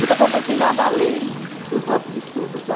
Nunca conversei nada além. Uhum. Dos nossos estudos lá.